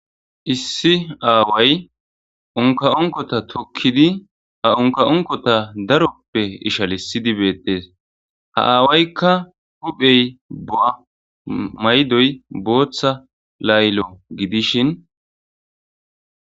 Issi aaway onka onkota tokkidi ha onka7onkota daroppe ishalissidi beettees ha aawaykka huphey ba maydoy booththa laylo gidishin.